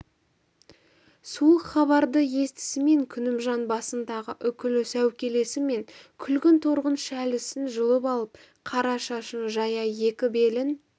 суық хабарды естісімен күнімжан басындағы үкілі сәукелесі мен күлгін торғын шәлісін жұлып алып қара шашын жая екі белін